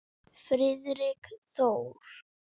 Friðrik Þór.